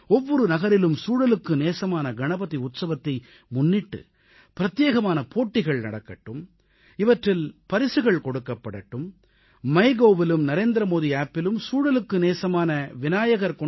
ஒவ்வொரு நகரிலும் சூழலுக்கு நேசமான கணபதி உற்சவத்தை முன்னிட்டு பிரத்யேகமான போட்டிகள் நடக்கட்டும் இவற்றில் பரிசுகள் கொடுக்கப்படட்டும் மைகவ் தளத்திலும் மைகோவ் நரேந்திர மோடி செயலியிலும் NarendraModiAppஇலும் சூழலுக்கு நேசமான விநாயகர்